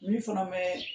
Olu fana bɛ